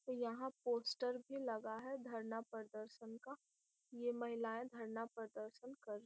यहाँ पोस्टर भी लगा है धरना प्रदर्शन का ये महिलाए धरना प्रदर्शन कर --